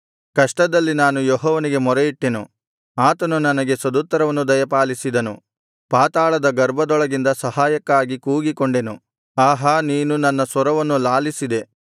ಕಷ್ಟದಲ್ಲಿ ನಾನು ಯೆಹೋವನಿಗೆ ಮೊರೆಯಿಟ್ಟೆನು ಆತನು ನನಗೆ ಸದುತ್ತರವನ್ನು ದಯಪಾಲಿಸಿದನು ಪಾತಾಳದ ಗರ್ಭದೊಳಗಿಂದ ಸಹಾಯಕ್ಕಾಗಿ ಕೂಗಿಕೊಂಡೆನು ಆಹಾ ನೀನು ನನ್ನ ಸ್ವರವನ್ನು ಲಾಲಿಸಿದೆ